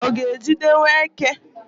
ọ ga-ejidewo eke?